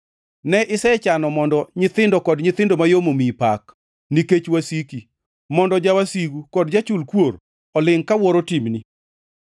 Ne isechano mondo nyithindo kod nyithindo mayom omiyi pak, nikech wasiki, mondo jawasigu kod jachul kuor olingʼ kawuoro timni.